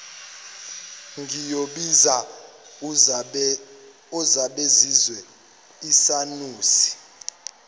ngiyobiza uzabazezwe isanusi